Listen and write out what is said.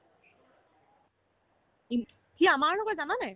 সি আমাৰ লগৰ জানানে